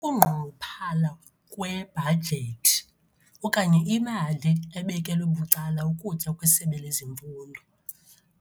Ukungqunguphala kwebhajethi okanye imali ebekelwe bucala ukutya kweSebe lezeMfundo.